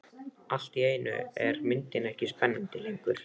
Allt í einu er myndin ekki spennandi lengur.